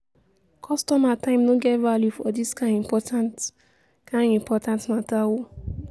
kostomer time no get value for dis kain important kain important mata o.